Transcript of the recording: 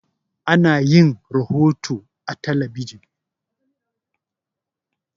Ana yin rohoto a talabijin.